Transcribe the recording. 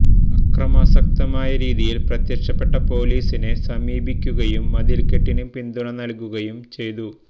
അക്രമാസക്തമായ രീതിയിൽ പ്രത്യക്ഷപ്പെട്ട പോലീസിനെ സമീപിക്കുകയും മതിൽക്കെട്ടിന് പിന്തുണ നൽകുകയും ചെയ്തു